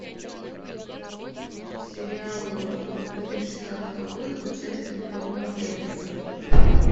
сериал две тысячи шестнадцатого года с участием тома эллиса